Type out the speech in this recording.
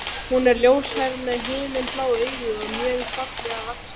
Hún er ljóshærð með himinblá augu og mjög fallega vaxin.